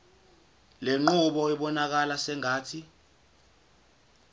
lenqubo ibonakala sengathi